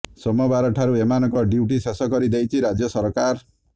ସୋମବାର ଠାରୁ ଏମାନଙ୍କ ଡ୍ୟୁଟି ଶେଷ କରି ଦେଇଛି ରାଜ୍ୟ ସରକାର